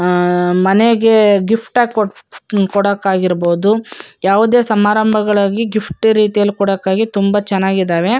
ಆ ಮನೆಗೆ ಗೀ ಗಿಫ್ಟ್ ಆಗ್ ಕೊಡಕ್ ಆಗಿರ್ಬೋದು ಯಾವದೇ ಸಂಬರಗಾಲಲ್ಲಿ ಗಿಫ್ಟ್ ರೀತಿ ಕೊಡಕಾಗಿ ತುಂಬ ಚೆನ್ನಾಗಿದ್ದವೇ.